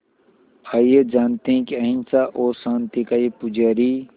आइए जानते हैं कि अहिंसा और शांति का ये पुजारी